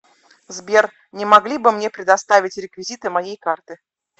сбер не могли бы мне предоставить реквизиты моей карты